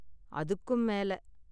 அதுக்கும் மேல